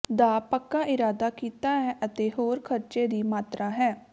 ਦਾ ਪੱਕਾ ਇਰਾਦਾ ਕੀਤਾ ਹੈ ਅਤੇ ਹੋਰ ਖਰਚੇ ਦੀ ਮਾਤਰਾ ਹੈ